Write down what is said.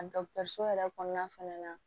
A dɔkitɛriso yɛrɛ kɔnɔna fɛnɛ na